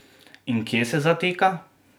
In kje se zatika?